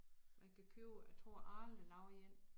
Man kan købe jeg tror Arla laver én